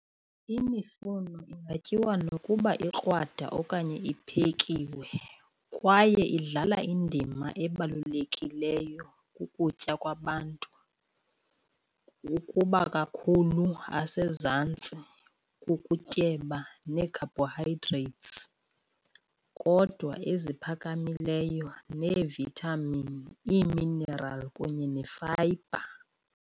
Imifuno kungatyiwa nokuba ukrwada okanye uphekiwe kwaye badlala indima ebalulekileyo ukutya babantu, ukuba kakhulu asezantsi kukutyeba neecarbohydrates, kodwa eziphakamileyo neevithamini, iiminerali kunye nefayibha.